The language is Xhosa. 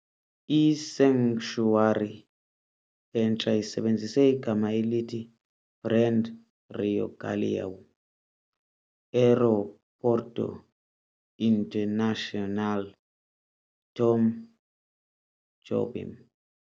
I-concessionary entsha isebenzise igama elithi brand RIOgaleão - Aeroporto Internacional Tom Jobim.